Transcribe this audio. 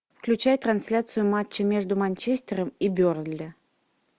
включай трансляцию матча между манчестером и бернли